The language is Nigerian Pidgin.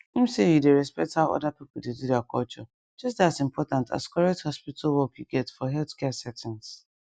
ehm say you dey respect how other people dey do their culture just dey as important as correct hospital work you get for healthcare settings